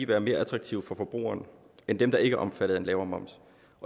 være mere attraktive for forbrugeren end dem der ikke er omfattet af en lavere moms